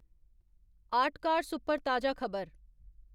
आर्टकार्स उप्पर ताजा खबर